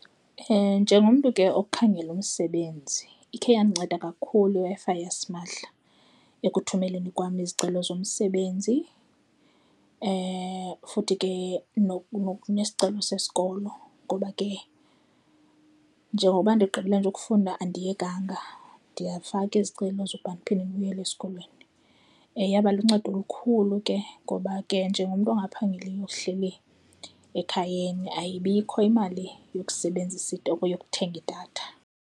Njengomntu ke okhangela umsebenzi ikhe iyandinceda kakhulu iWi-Fi yasimahla ekuthumeleni kwam izicelo zomsebenzi futhi ke nesicelo sesikolo ngoba ke njengokuba ndigqibele nje ukufunda andiyekanga, ndiyafaka izicelo zoba ndiphinde ndibuyele esikolweni. Yaba luncedo olukhulu ke ngoba ke njengomntu ongaphangeliyo ohleli ekhayeni ayibikho imali yokusebenzisa yokuthenga idatha.